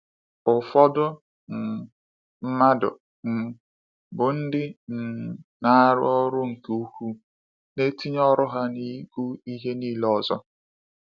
Ụfọdụ um mmadụ um bụ ndị um na-arụ ọrụ nke ukwuu, na-etinye ọrụ ha n’ihu ihe niile ọzọ.